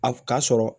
A ka sɔrɔ